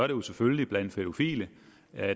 jo selvfølgelig blandt pædofile